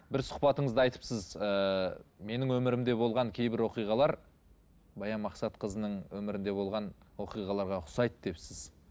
бір сұхбатыңызда айтыпсыз ыыы менің өмірімде болған кейбір оқиғалар баян мақсатқызының өмірінде болған оқиғаларға ұқсайды депсіз